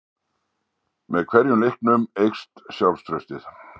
Með hverjum leiknum eykst sjálfstraustið.